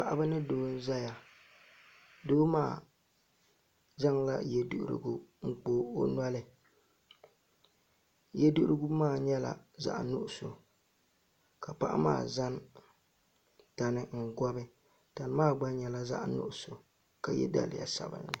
Paɣaba ni doo n ʒɛya doo maa zaŋla yɛ duɣurigu n kpa o noli yɛ duɣurigu maa nyɛla zaɣ nuɣso ka paɣa maa zaŋ tani n gobi tani maa gba nyɛla zaɣ nuɣso ka yɛ daliya sabinli